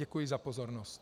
Děkuji za pozornost.